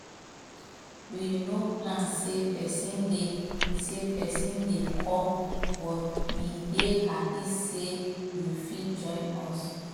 we no plan say person dey say person dey come but we dey happy say you fit join us